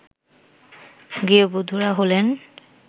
গৃহবধূরা হলেন